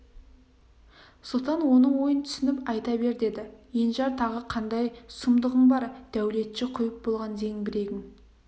сұлтан оның ойын түсініп айта бер деді енжар тағы қандай сұмдығың бар дәулетші құйып болған зеңбірегін